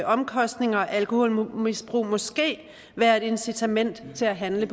omkostninger af alkoholmisbrug måske være et incitament til at handle